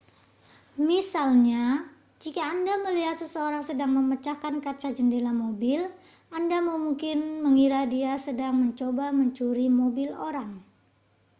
misalnya jika anda melihat seseorang sedang memecahkan kaca jendela mobil anda mungkin mengira dia sedang mencoba mencuri mobil orang